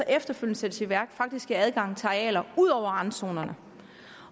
efterfølgende sættes i værk faktisk giver adgang til arealer ud over randzonerne